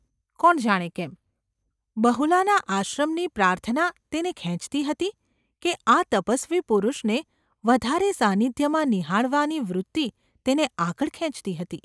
કોણ જાણે કેમ, બહુલાના આશ્રમની પ્રાર્થના તેને ખેંચતી હતી કે આ તપસ્વી પુરુષને વધારે સાનિધ્યમાં નિહાળવાની વૃત્તિ તેને આગળ ખેંચતી હતી ?